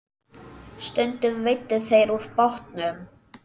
Stundum veiddu þeir úr bátnum.